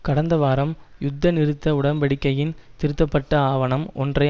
கடந்த வாரம் யுத்த நிறுத்த உடன்படிக்கையின் திருத்தப்பட்ட ஆவணம் ஒன்றை